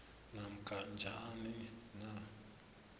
namkha njani na